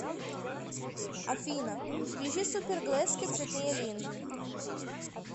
афина включи супер глэзки цветные линзы